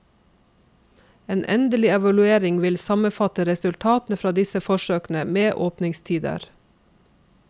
En endelig evaluering vil sammenfatte resultatene fra disse forsøkene med åpningstider.